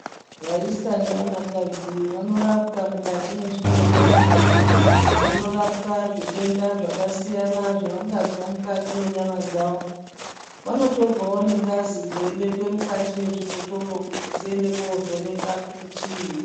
Vaisa nevanakadzi vanorapwa mukati mwezvibhedhlera vanotapwa zvitenda zvakasiyana zvavangazwa mukati mwenyama dzao vanotorwao nengazi dzeibekwa mukati mwezvibhotoro kuti dziende koovhenekwe kuti chiini.